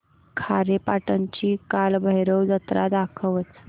खारेपाटण ची कालभैरव जत्रा दाखवच